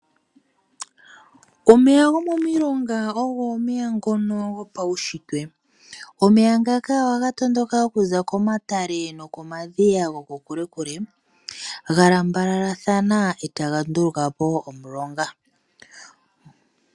Omeya gomomilonga ogo omeya ngono gopawushitwe. Omeya ngaka ohaga tondoka okuza komatale nokomadhiya goko kule kule, galambalalathana eta ga nduulukapo omulonga.